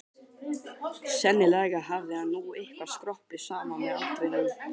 Sennilega hafði hann nú eitthvað skroppið saman með aldrinum.